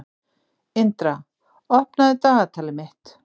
Indra, opnaðu dagatalið mitt.